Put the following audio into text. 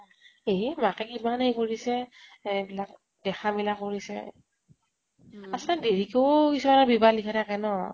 এইহে মাকে কিমান এই কৰিছে । এইবিলাক দেখা মেলা কৰিছে । আচলতে দেৰিকেও কিছুমানৰ বিবাহ লিখা থাকে ন ?